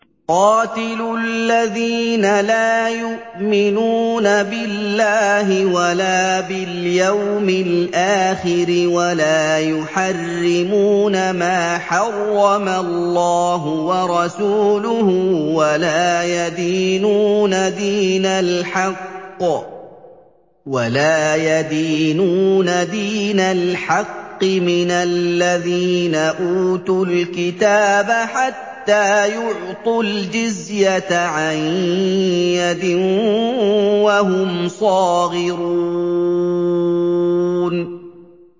قَاتِلُوا الَّذِينَ لَا يُؤْمِنُونَ بِاللَّهِ وَلَا بِالْيَوْمِ الْآخِرِ وَلَا يُحَرِّمُونَ مَا حَرَّمَ اللَّهُ وَرَسُولُهُ وَلَا يَدِينُونَ دِينَ الْحَقِّ مِنَ الَّذِينَ أُوتُوا الْكِتَابَ حَتَّىٰ يُعْطُوا الْجِزْيَةَ عَن يَدٍ وَهُمْ صَاغِرُونَ